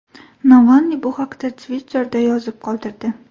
Navalniy bu haqda Twitter’da yozib qoldirdi .